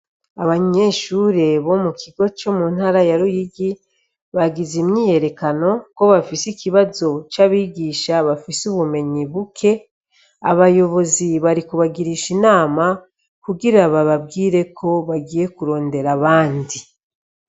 Abanyeshure bo mu kigo co mu ntara ya Ruyigi bagize imyiyerekano ko bafise ikibazo c' abigisha bafise ubumenyi buke, abayibozi bari kubagirisha inama kugira bababwire ko bagiye kurondera abandi.